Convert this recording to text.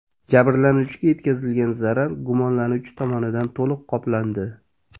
Jabrlanuvchiga yetkazilgan zarar gumonlanuvchi tomonidan to‘liq qoplandi.